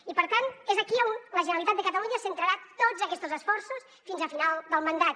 i per tant és aquí on la generalitat de catalunya centrarà tots aquestos esforços fins a final del mandat